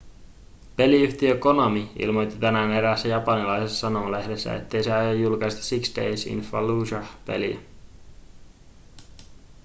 peliyhtiö konami ilmoitti tänään eräässä japanilaisessa sanomalehdessä ettei se aio julkaista six days in fallujah peliä